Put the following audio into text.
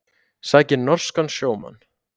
Sækir norskan sjómann